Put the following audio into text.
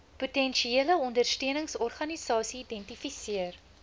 potensiële ondersteuningsorganisasie identifiseer